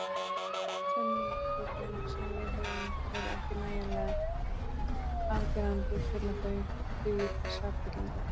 Sönnunargögnin sem við höfum eru ekki nægjanlega afgerandi til að þau dugi til sakfellingar.